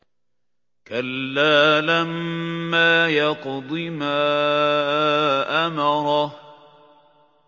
كَلَّا لَمَّا يَقْضِ مَا أَمَرَهُ